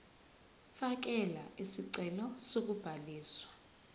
fakela isicelo sokubhaliswa